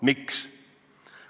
Miks?